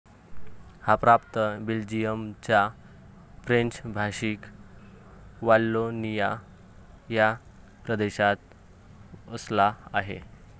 हा प्रांत बेल्जियमच्या फ्रेंच भाषिक वाल्लोनिया ह्या प्रदेशात वसला आहे.